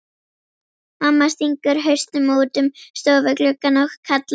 Mamma stingur hausnum út um stofugluggann og kallar.